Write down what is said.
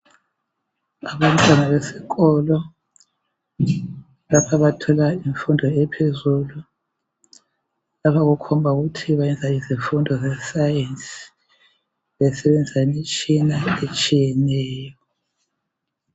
Abantwana besikolo lapha bathola imfundo ephezulu. Lapha kukhomba ukuthi benza izifundo zesayensi besebenzisa imitshina etshiyeneyo.